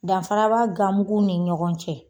Danfara b'a gan muguw ni ɲɔgɔn cɛ.